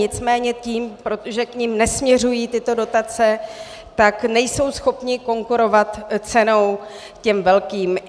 Nicméně tím, že k nim nesměřují tyto dotace, tak nejsou schopni konkurovat cenou těm velkým.